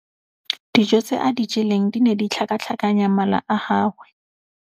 Dijô tse a di jeleng di ne di tlhakatlhakanya mala a gagwe.